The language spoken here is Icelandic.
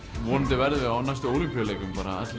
vonandi verða á næstu Ólympíuleikum